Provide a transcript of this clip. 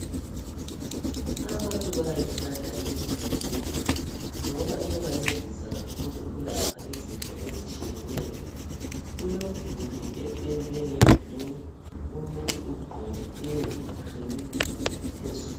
Abantu bayayithanda imithi yesintu ngoba iyabancedisa kakhulu ukulapha izifo ezitshiyeneyo, kulomduli opendwe nge"blue" umuntu ugqoke i"green" phezulu.